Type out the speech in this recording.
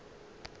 le ge ke se ka